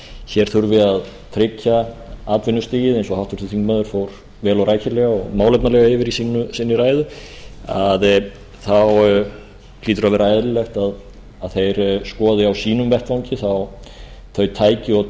hér þurfi að tryggja atvinnustigið eins og háttvirtur þingmaður fór vel og rækilega og málefnalega yfir í sinni ræðu þá hlýtur að vera eðlilegt að þeir skoði á sínum vettvangi þau tæki og